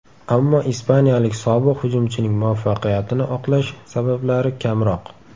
Ammo ispaniyalik sobiq hujumchining muvaffaqiyatini oqlash sabablari kamroq.